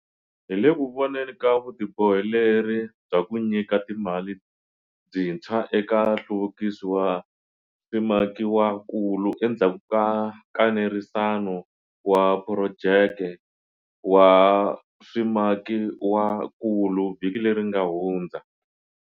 Hi le ku voneni ka vutiboheleri bya ku nyika timali byintshwa eka nhluvukiso wa swimakiwakulu endzhaku ka nkanerisano wa phurojeke wa swimakiwakulu vhiki leri nga hundza.